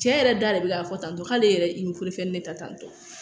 Cɛ yɛrɛ da de bɛ k'a fɔ tan tɔ k'ale yɛrɛ ye i ni de ta tan tɔ